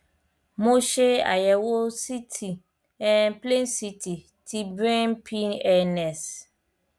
mo ṣe àyẹwò ct um plain ct ti brain pns